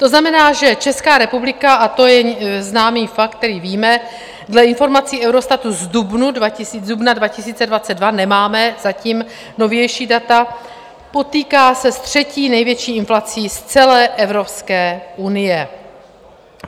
To znamená, že Česká republika, a to je známý fakt, který víme, dle informací EUROSTATu z dubna 2022, nemáme zatím novější data, potýká se s třetí největší inflací z celé Evropské unie.